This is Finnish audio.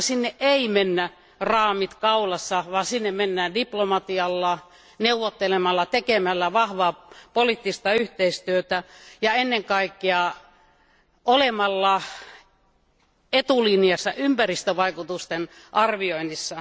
Sinne ei kuitenkaan mennä raamit kaulassa, vaan diplomatialla, neuvottelemalla ja tekemällä vahvaa poliittista yhteistyötä ja ennen kaikkea olemalla etulinjassa ympäristövaikutusten arvioinnissa.